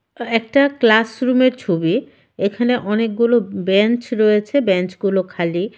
আঃ একটা ক্লাসরুমের ছবি এখানে অনেকগুলো ব-বেঞ্চ রয়েছে বেঞ্চগুলো খালি.